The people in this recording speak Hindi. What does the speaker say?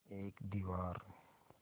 एक दीवार